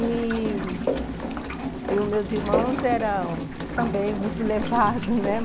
E... E os meus irmãos eram também muito levados, né?